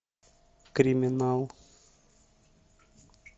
криминал